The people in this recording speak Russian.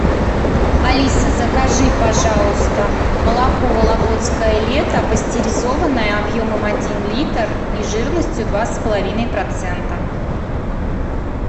алиса закажи пожалуйста молоко вологодское лето пастеризованное объемом один литр и жирностью два с половиной процента